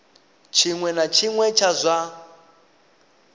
tshiṅwe na tshiṅwe tsha zwa